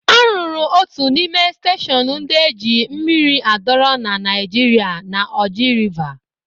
A rụrụ otu n'ime steshọn ndị eji mmiri adọrọ na Naịjirịa na Oji Rịva.